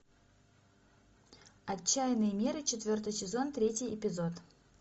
отчаянные меры четвертый сезон третий эпизод